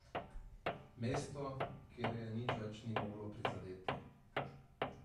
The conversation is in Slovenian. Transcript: Mesto, kjer je nič več ni moglo prizadeti.